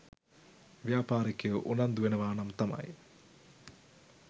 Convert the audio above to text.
ව්‍යාපාරිකයෝ උනන්දු වෙනවා නම් තමයි.